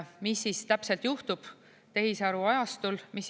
Mis täpselt juhtub tehisaru ajastul?